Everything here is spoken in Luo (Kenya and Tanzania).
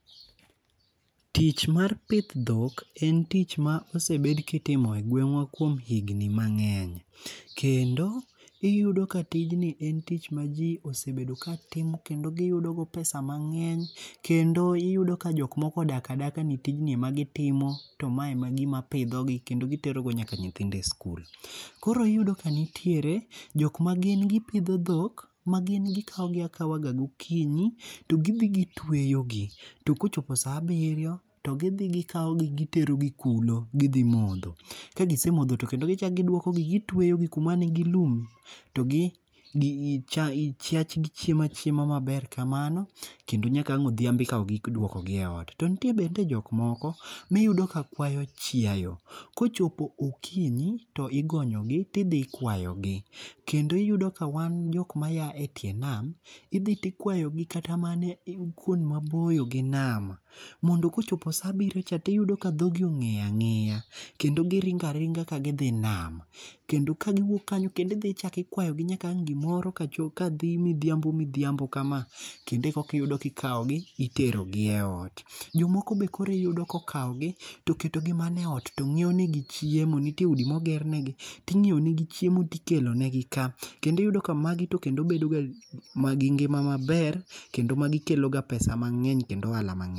Tich mar pith en tich ma osebed kitimo e gweng'wa kuom higni mang'eny. Kendo iyudo ka tijni en tich ma ji osebedo ka timo kendo giyudo go pesa mang'eny kendo iyudo ka jok moko odak adaka ni tijni emak gitiomo to ma ema gima pidhogi kendo gitero go nyaka nyithindo e sikul. Koro iyudo ka nitiere jok ma gin gipidho dhok ma gin gikaw gi akawa ga gokinyi to gidhi gitweyogi to kochopo sa abiryo to gidhi gikaw gi giterogi kulo gidhi modho. Kagisemodho to kendo gichak giduoko gi gitueyo gi kuma nigi lum to gi chiachgi chiemo achiema maber kamano kendo nyaka ang' odhiambo ekaw gi iduoko gi e ot. To nitie bende jok moko miyudo ka kwayo chiayo. Kochopo okinyi to igonyogi tidhi kwayo gi. Kendo iyudo ka wan jok ma ya e tie nam idhi tikwayo gi kata mana kuond maboyo gi nam. Mondo kochopo sa abiryo cha tiyudo ka dhogi ong'eyo ang'eya. Kendo giringo aringa ka gidhi nam. Kendo ka giwuok kanyo kendo idhi ichako ikwayo gi nyaka ang' gimoro ka dhi midhiambo midhiambo ka ma kendo ekoki kaw gi iterogi e ot. Jomoko be koro iyudo ko kaw gi toketo gi mana e ot to ng'iew ne gichiemo. Nitie udi moger ne gi ting'iew negi chiemo tikelo negi ka. Kendo iyudo ka magi tokendo bedoga ma gi ngima maber kendo magi kelo ga pesa mang'eny kendo ohala mang'eny.